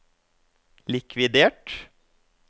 likvidert